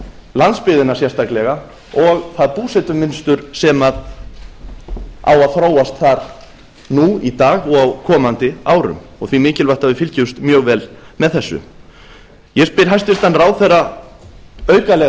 landsbyggðina sérstaklega og það búsetumunstur sem á að þróast þar nú í dag og á komandi árum og því mikilvægt að við fylgjumst mjög vel með þessu ég spyr hæstvirtur ráðherra aukalega að